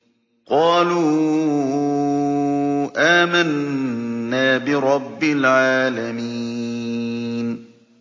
قَالُوا آمَنَّا بِرَبِّ الْعَالَمِينَ